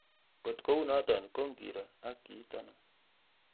Ngot kounoto ko ngiro ak kiit ano